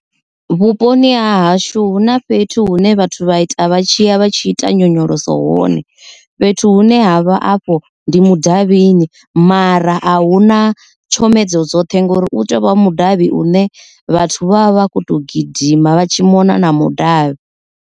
Vhuponi ha hashu hu na fhethu hune vhathu vha ita vha tshi ya vha tshi ita nyonyoloso hone fhethu hune havha afho ndi mudavhini mara a huna tshomedzo dzoṱhe ngori u tovha mudavhi u ne vhathu vha vha vha kho to gidima vha tshi mona na mudavhi.